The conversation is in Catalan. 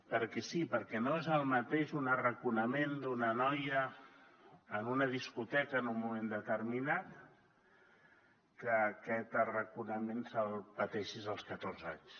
perquè sí perquè no és el mateix un arraconament d’una noia en una discoteca en un moment determinat que aquest arraconament el pateixis als catorze anys